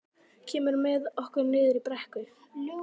Kemurðu með okkur niður í brekku?